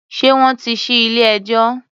Ṣé wọ́n tí ṣí ilé-ẹjọ́?